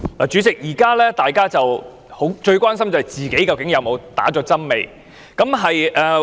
主席，大家目前最關心的便是不知自己曾否注射疫苗。